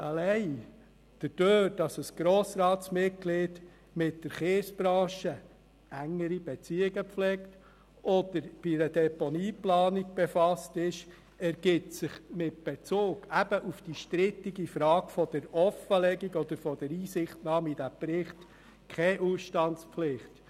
Allein dadurch, dass Grossratsmitglieder enge Beziehungen zur Kiesbranche pflegen oder sich mit der Deponieplanung befassen, ergibt sich mit Bezug auf die strittige Frage der Offenlegung oder der Einsichtnahme in den Bericht keine Ausstandspflicht.